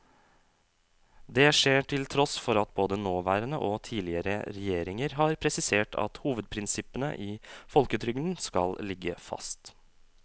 Det skjer til tross for at både nåværende og tidligere regjeringer har presisert at hovedprinsippene i folketrygden skal ligge fast.